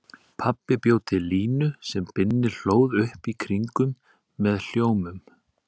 Pabbi bjó til línu sem Binni hlóð upp í kringum með hljómum.